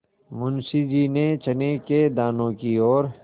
मुंशी जी ने चने के दानों की ओर